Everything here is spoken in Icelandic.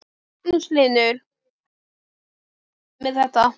Magnús Hlynur: Og ert þú ánægður með þetta?